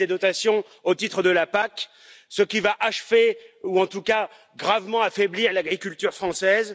Une baisse des dotations au titre de la PAC, ce qui va achever ou, en tout cas, gravement affaiblir l'agriculture française.